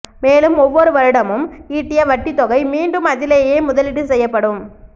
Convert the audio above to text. மேலும் ஒவ்வொரு வருடமும் ஈட்டிய வட்டித் தொகை மீண்டும் அதிலேயே முதலீடு செய்யப்படும்